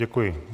Děkuji.